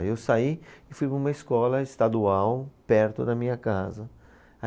Aí eu saí e fui para uma escola estadual perto da minha casa.